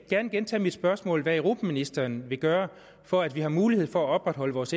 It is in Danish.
gerne gentage mit spørgsmål om hvad europaministeren vil gøre for at vi har mulighed for at opretholde vores